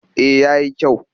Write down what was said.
Eh ya yi kyau